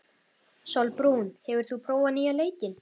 Sólbrún, hefur þú prófað nýja leikinn?